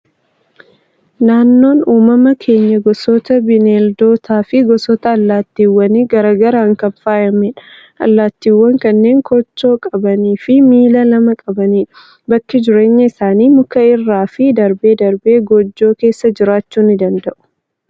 Naannoon uumama keenyaa gosoota bineeldotaa fi gosoota allaattiiwwan garaagaraan kan faayamedha. Allaattiiwwan kanneen kochoo qaban fi miila lama qabanidha. Bakki jireenya isaanii, muka irraa fi darbee darbee goojjoo keessa jiraachuu ni danda'u.